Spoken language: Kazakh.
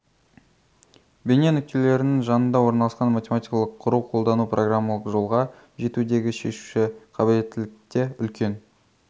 бейне нүктелерінің жанында орналасқан математикалық құру қолдану программалық жолға жетудегі шешуші қабілеттікте үлкен